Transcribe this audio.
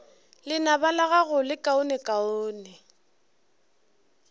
lenaba la gago le lekaonekaone